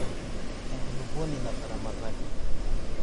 enkuluponi nataramataki